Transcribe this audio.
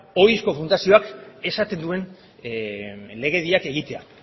ohizko fundazioak esaten duen legediak egitea